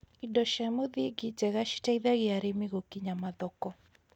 indo cia mũthingi njega citeithagia arĩmi gũkinya mathoko